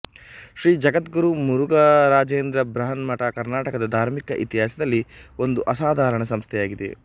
ಶ್ರೀ ಜಗದ್ಗುರು ಮುರುಘರಾಜೇಂದ್ರ ಬೃಹನಮಠ ಕರ್ನಾಟಕದ ಧಾರ್ಮಿಕ ಇತಿಹಾಸದಲ್ಲಿ ಒಂದು ಅಸಾಧಾರಣ ಸಂಸ್ಥೆಯಾಗಿದೆ